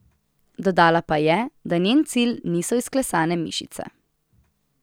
Dodala pa je, da njen cilj niso izklesane mišice.